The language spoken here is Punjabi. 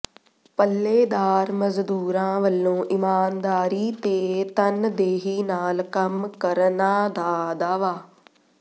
ਪੱਲੇਦਾਰ ਮਜ਼ਦੂਰਾਂ ਵਲੋਂ ਇਮਾਨਦਾਰੀ ਤੇ ਤਨਦੇਹੀ ਨਾਲ ਕੰਮ ਕਰਨਾ ਦਾ ਦਾਅਵਾ